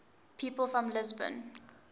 people from lisbon